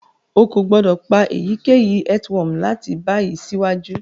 O ko gbodo pa eyikeyi earthworm lati bayi siwaju.